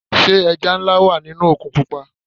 Sé ẹja nlá wà nínú òkun pupa.